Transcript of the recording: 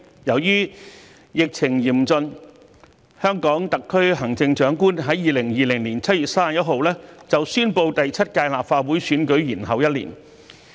由於疫情嚴峻，香港特區行政長官在2020年7月31日宣布把第七屆立法會選舉延後一年。